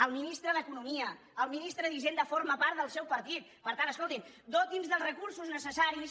el ministre d’economia el ministre d’hisenda formen part del seu partit per tant escoltin dotin nos dels recursos necessaris